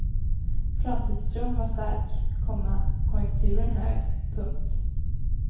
Framtidstron var stark, komma konjunkturen hög. punkt